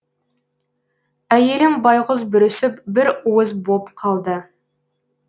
әйелім байғұс бүрісіп бір уыс боп қалды